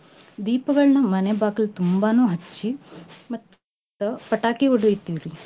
ದೀಪಗಳ್ನ ಮನೆ ಬಾಕಲ್ ತುಂಬಾನೂ ಹಚ್ಚಿ ಮತ್ತ ಪಟಾಕಿ ಹೊಡಿತೀವ್ ರಿ